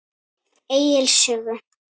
Egils sögu.